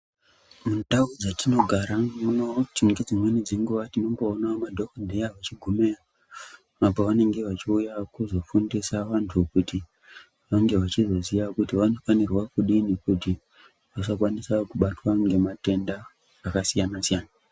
Mundau dzatinogara nedzimweni dzenguwa tinoona madhokodheya achigumeyo apa pavanenge vachifundisa antu Kuti vange vachizoziya kuti vanofanira kudini kuti vasakwanisa kubatwa ngematenda akasiyana siyana.